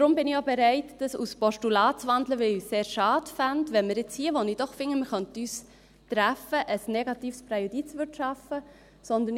Deshalb bin ich auch bereit, in ein Postulat zu wandeln, weil ich es sehr schade fände, wenn wir nun hier, wo ich doch finde, wir könnten uns treffen, ein negatives Präjudiz schaffen würden.